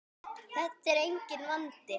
Þetta er enginn vandi!